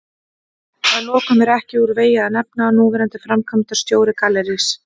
Að lokum er ekki úr vegi að nefna að núverandi framkvæmdastjóri Gallerís